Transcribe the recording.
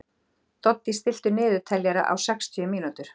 Doddý, stilltu niðurteljara á sextíu mínútur.